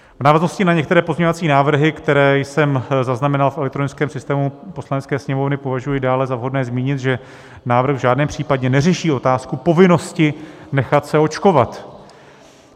V návaznosti na některé pozměňovací návrhy, které jsem zaznamenal v elektronickém systému Poslanecké sněmovny, požaduji dále za vhodné zmínit, že návrh v žádném případě neřeší otázku povinnosti nechat se očkovat.